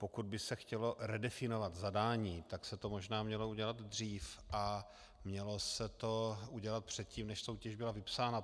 Pokud by se chtělo redefinovat zadání, tak se to možná mělo udělat dřív a mělo se to udělat předtím, než soutěž byla vypsána.